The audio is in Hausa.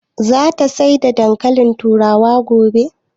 Za ta saya dankalin turawa gobe?